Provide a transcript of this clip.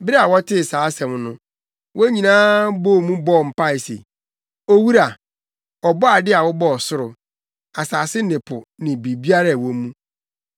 Bere a wɔtee saa asɛm no, wɔn nyinaa bɔɔ mu bɔɔ mpae se, “Owura, Ɔbɔade a wobɔɔ ɔsoro, asase ne po ne biribiara a ɛwɔ mu,